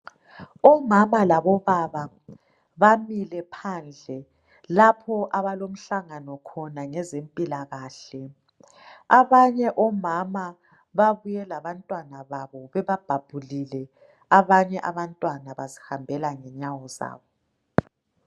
Omama labobaba bamile phandle lapho abalomhlangano khona ngezempilakahle. Abanye omama babuye labantwana babo bebabhabhulile abanye abantwana bazihambela ngenyawo.